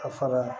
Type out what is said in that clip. A fara